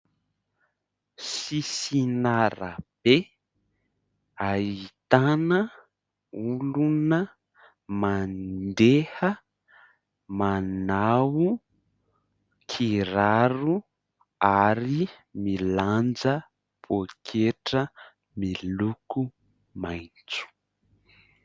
Sisin'arabe ahitana olona mandeha, manao kiraro ary milanja pôketra miloko maitso.